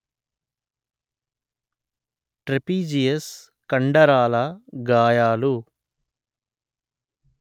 trapezius కండరాల గాయాలు